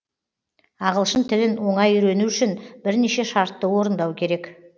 ағылшын тілін оңай үйрену үшін бірнеше шартты орындау керек